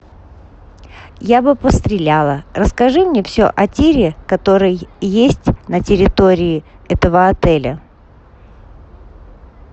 я бы постреляла расскажи мне все о тире который есть на территории этого отеля